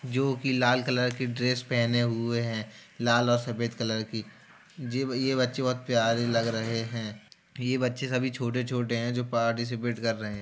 जो की लाल कलर की ड्रेस पहने हुए हैं लाल और सफ़ेद कलर की ये-ये बच्चे बहुत प्यारे लग रहे हैं ये बच्चे सभी छोटे-छोटे हैं जो पार्टिसिपेट कर रहे है।